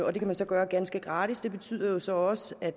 og det kan man så gøre ganske gratis det betyder jo så også at